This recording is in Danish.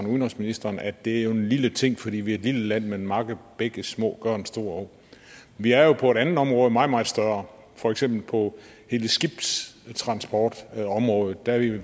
udenrigsministeren at det jo er en lille ting fordi vi er et lille land men mange bække små gør en stor å vi er jo på et andet område meget meget større for eksempel på hele skibstransportområdet der er vi